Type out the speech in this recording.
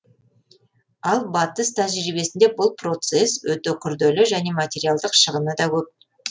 ал батыс тәжірибесінде бұл процесс өте күрделі және материалдық шығыны да көп